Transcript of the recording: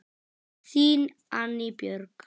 Þín, Anný Björg.